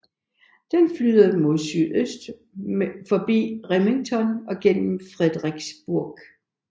Den flyder mod sydøst forbi Remington og gennem Fredericksburg